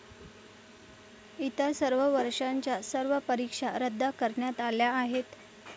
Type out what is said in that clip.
इतर सर्व वर्षाच्या सर्व परीक्षा रद्द करण्यात आल्या आहेत.